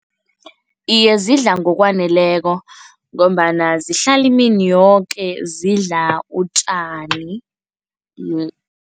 Iye, zidla ngokwaneleko ngombana zihlala imini yoke zidla utjani